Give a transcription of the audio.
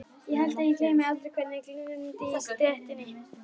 Ég held að ég gleymi aldrei hvernig glumdi í stéttinni.